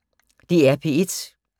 DR P1